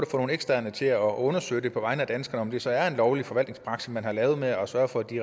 få nogle eksterne til at undersøge det på vegne af danskerne altså er en lovlig forvaltningspraksis man har lavet med at sørge for at de